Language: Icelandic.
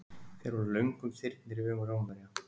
Þeir voru löngum þyrnir í augum Rómverja.